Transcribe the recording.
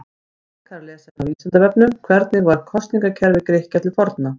Frekara lesefni á Vísindavefnum: Hvernig var kosningakerfi Grikkja til forna?